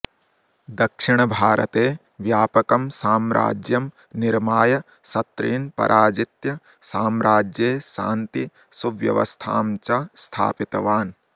दक्षिणभारते व्यापकम् साम्राज्यम् निर्माय शतृन् पराजित्य साम्राज्ये शान्ति सुव्यवस्थाम् च स्थापितवान्